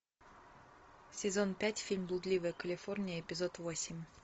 сезон пять фильм блудливая калифорния эпизод восемь